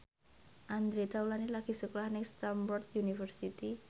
Andre Taulany lagi sekolah nang Stamford University